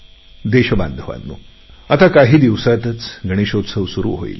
देशबांधवांनो काही दिवसातच गणेशोत्सव येईल